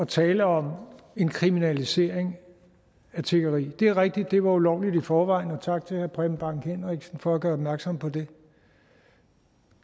tale om en kriminalisering af tiggeri det er rigtigt at det var ulovligt i forvejen og tak til herre preben bang henriksen for at gøre opmærksom på det